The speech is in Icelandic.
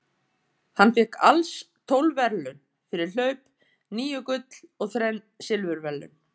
Hann fékk alls tólf verðlaun fyrir hlaup, níu gull og þrenn silfurverðlaun.